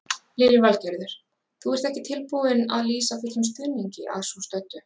Lillý Valgerður: Þú ert ekki tilbúinn að lýsa fullum stuðningi að svo stöddu?